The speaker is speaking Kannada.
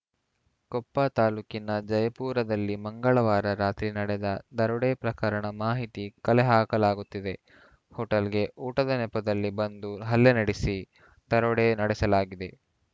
ಕೊಪ್ಪ ತಾಲೂಕಿನ ಜಯಪುರದಲ್ಲಿ ಮಂಗಳವಾರ ರಾತ್ರಿ ನಡೆದ ದರೋಡೆ ಪ್ರಕರಣ ಮಾಹಿತಿ ಕಲೆಹಾಕಲಾಗುತ್ತಿದೆ ಹೋಟೆಲ್‌ಗೆ ಊಟದ ನೆಪದಲ್ಲಿ ಬಂದು ಹಲ್ಲೆ ನಡೆಸಿ ದರೋಡೆ ನಡೆಸಲಾಗಿದೆ